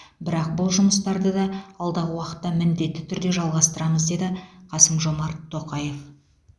бірақ бұл жұмыстарды да алдағы уақытта міндетті түрде жалғастырамыз деді қасым жомарт тоқаев